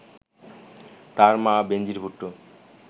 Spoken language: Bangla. তাঁর মা বেনজির ভুট্টো